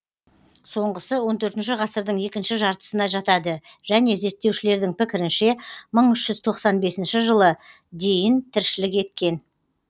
соңғысы он төртінші екінші жартысына жатады және зерттеушілердің пікірінше мың үш жүз тоқсан бесінші жылы дейін тіршілік еткен